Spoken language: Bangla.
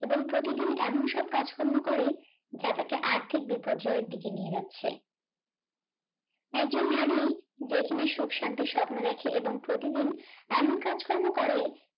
এবং প্রতিদিন এমন সব কাজকর্ম করে যা তাকে আর্থিক বিপর্যয়ের দিকে নিয়ে যাচ্ছে একজন নারী যে কিনা সুখ শান্তির স্বপ্ন দেখে এবং প্রতিদিন এমন কাজকর্ম করে